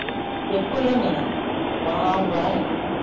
ਇਕੋ ਹੇਨੀਗਾ ਬਾਰਾ ਉਂਗਲਾ ਨੇ